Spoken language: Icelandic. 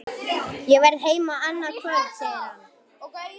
Ég verð heima annað kvöld, segir hann.